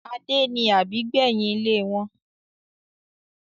Adé ni àbígbẹ́yìn ilé wọn